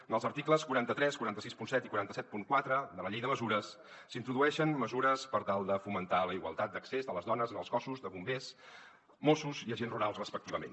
en els articles quaranta tres quatre cents i seixanta set i quatre cents i setanta quatre de la llei de mesures s’introdueixen mesures per tal de fomentar la igualtat d’accés de les dones en els cossos de bombers mossos i agents rurals respectivament